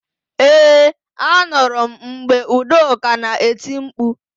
Ee, anụrụ m mgbe Udoka na-eti mkpu.